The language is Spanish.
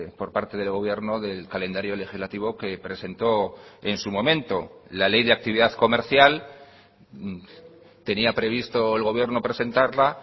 por parte del gobierno del calendario legislativo que presentó en su momento la ley de actividad comercial tenía previsto el gobierno presentarla